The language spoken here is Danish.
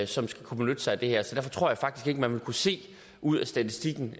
som skal kunne benytte sig af det her så derfor tror jeg faktisk man vil kunne se ud af statistikken